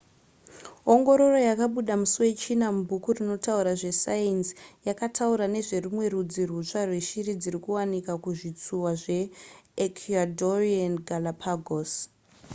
ongororo yakabuda musi wechina mubhuku rinotaura zvesainzi yakataura nezverumwe rudzi rwutsva rweshiri dziri kuwanikwa kuzvitsuwa zveecuadorean galápagos